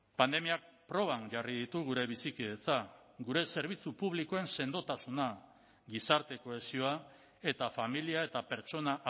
pandemiak proban jarri ditu gure bizikidetza gure zerbitzu publikoen sendotasuna gizarte kohesioa eta familia eta pertsona